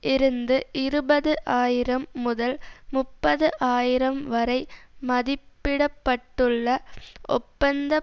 இருந்து இருபது ஆயிரம் முதல் முப்பது ஆயிரம் வரை மதிப்பிட பட்டுள்ள ஒப்பந்த